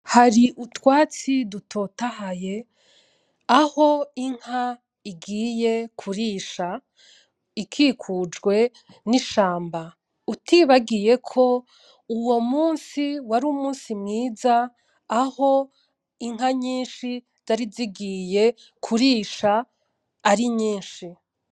Hari utwatsi dutotahaye, aho inka igiye kurisha ikikujwe n'ishamba. Utibagiyeko uwo munsi wari umunsi mwiza aho inka nyinshi zari zigiye kurisha ari nyinshi.